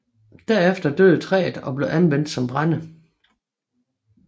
Derefter døde træet og blev anvendt som brænde